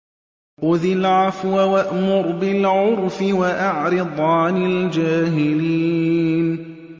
خُذِ الْعَفْوَ وَأْمُرْ بِالْعُرْفِ وَأَعْرِضْ عَنِ الْجَاهِلِينَ